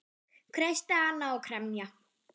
Kreista hana og kremja.